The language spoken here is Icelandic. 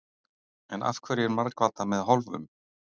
En af hverju er margfaldað með hálfum?